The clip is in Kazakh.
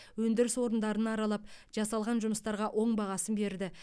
өндіріс орындарын аралап жасалған жұмыстарға оң бағасын берді